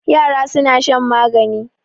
Yara suna shan magani.